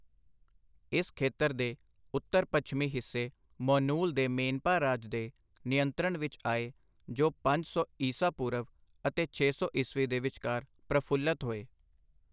ਇਸ ਖੇਤਰ ਦੇ ਉੱਤਰ ਪੱਛਮੀ ਹਿੱਸੇ ਮੋਨੂਲ ਦੇ ਮੋਨਪਾ ਰਾਜ ਦੇ ਨਿਯੰਤਰਣ ਵਿੱਚ ਆਏ, ਜੋ ਪੰਜ ਸੌ ਈਸਾ ਪੂਰਵ ਅਤੇ ਛੇ ਸੌ ਈਸਵੀ ਦੇ ਵਿਚਕਾਰ ਪ੍ਰਫ਼ੁੱਲਤ ਹੋਏ।